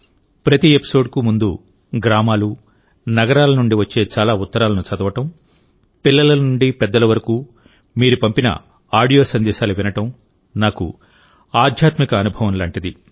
ప్రతి ఎపిసోడ్కు ముందుగ్రామాలు నగరాల నుండి వచ్చే చాలా ఉత్తరాలను చదవడం పిల్లల నుండి పెద్దల వరకు మీరు పంపిన ఆడియో సందేశాలు వినడం నాకు ఆధ్యాత్మిక అనుభవం లాంటిది